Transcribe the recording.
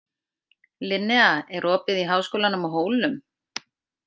Linnea, er opið í Háskólanum á Hólum?